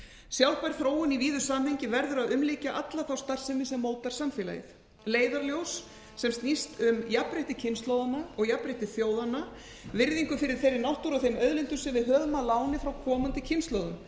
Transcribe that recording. sjálfbær þróun í víðu samhengi verður að umlykja alla starfsemi sem mótar samfélagið leiðarljós sem snýst um jafnrétti kynslóðanna og jafnrétti þjóðanna virðingu fyrir þeirri náttúru og þeim auðlindum sem við höfum að láni frá komandi kynslóðum